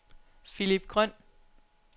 Philip Grøn